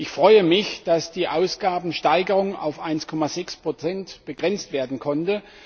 Ich freue mich, dass die Ausgabensteigerung auf 1,6 begrenzt werden konnte.